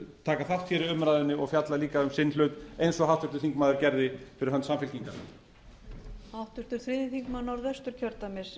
taka þátt hér í umræðunni og fjalla líka um sinn hlut eins og háttvirtur þingmaður gerði fyrir hönd samfylkingarinnar